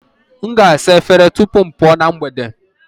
M ga-asa efere tupu m pụọ na mgbede